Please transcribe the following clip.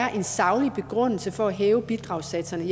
er en saglig begrundelse for at hæve bidragssatserne